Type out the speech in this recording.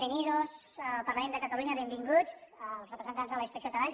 bienvenidos al parlament de cataluña benvinguts els representants de la inspecció de treball